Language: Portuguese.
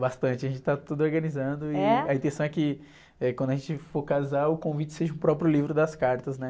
Bastante, a gente tá tudo organizando e....? intenção é que, eh, quando a gente for casar, o convite seja o próprio livro das cartas, né?